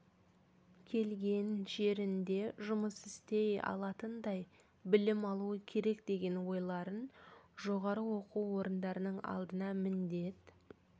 келген жерінде жұмыс істей алатындай білім алуы керек деген ойларын жоғары оқу орындарының алдына міндет